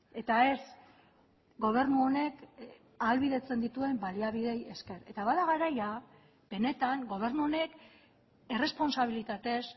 eta ez gobernu honek ahalbidetzen dituen baliabideei esker eta bada garaia benetan gobernu honek errespontsabilitatez